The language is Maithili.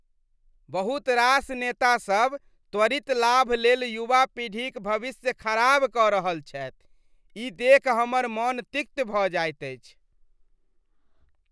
बहुत रास नेतासभ त्वरित लाभ लेल युवा पीढ़ीक भविष्य खराब कऽ रहल छथि, ई देखि हमर मन तिक्त भऽ जाइत अछि।